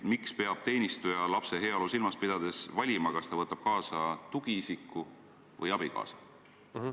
Miks peab teenistuja lapse heaolu silmas pidades valima, kas ta võtab kaasa tugiisiku või abikaasa?